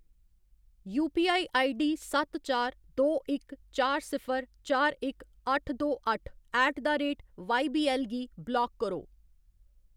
UPI ID सत्त चार दो इक चार सिफर चार इक अट्ठ दो अट्ठ ऐट द रेट वाईबीऐल्ल गी ब्लाक करो।